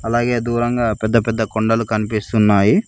అలాగే దూరంగా పెద్దపెద్ద కొండలు కనిపిస్తున్నాయి.